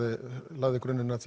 lagði grunninn að